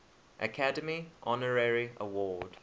academy honorary award